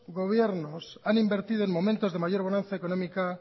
gobiernos han invertido en momentos de mayor bonanza económica